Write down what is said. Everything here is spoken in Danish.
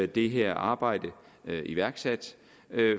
det her arbejde er iværksat